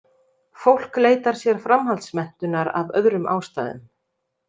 Fólk leitar sér framhaldsmenntunar af öðrum ástæðum.